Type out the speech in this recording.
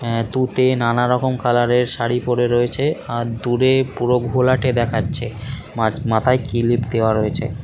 আঃ তুতে নানা রকম কালারের শাড়ী পড়ে রয়েছে আর দূরে পুরো ঘোলাটে দেখাচ্ছে মা-আ মাথায় ক্লিপ দেওয়া রয়েছে ।